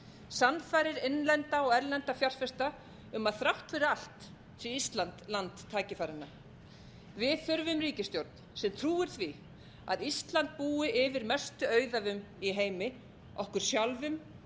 sannfærir innlenda og erlenda fjárfesta að þrátt fyrir allt sé ísland land tækifæranna við þurfum ríkisstjórn sem trúir því að ísland búi yfir mestu auðæfum í heimi okkur sjálfum